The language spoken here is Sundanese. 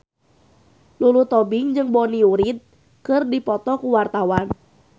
Lulu Tobing jeung Bonnie Wright keur dipoto ku wartawan